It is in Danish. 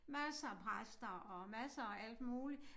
Masser af præster og masser af alt muligt